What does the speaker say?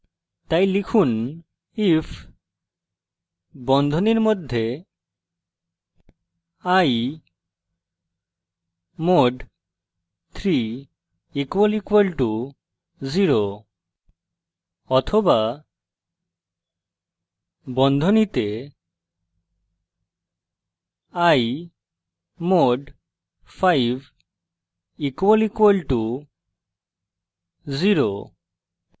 তাই লিখুন if বন্ধনীর মধ্যে i mod 3 == 0 অথবা বন্ধনীতে i mod 5 == 0